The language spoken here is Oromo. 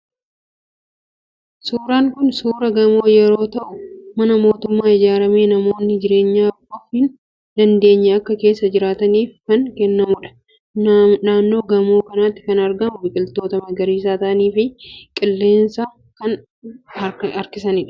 Suuraan kun suuraa gamoo yeroo ta'u, mana mootummaan ijaaramee namoonni jireenyaan of hin dandeenye akka keessa jiraataniif kan kennamudha. Naannoo gamoo kanaatti kan argamu biqiltoota magaariisa ta'anii fi qilleensa kan harkisanidha.